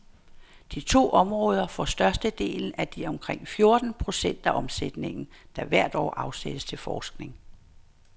De to områder får størstedelen af de omkring fjorten procent af omsætningen, der hvert år afsættes til forskning.